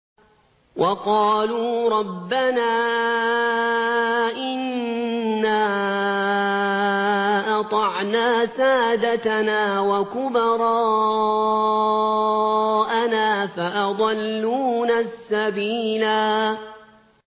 وَقَالُوا رَبَّنَا إِنَّا أَطَعْنَا سَادَتَنَا وَكُبَرَاءَنَا فَأَضَلُّونَا السَّبِيلَا